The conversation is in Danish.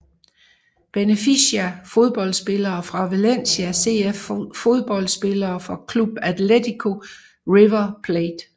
Benfica Fodboldspillere fra Valencia CF Fodboldspillere fra Club Atlético River Plate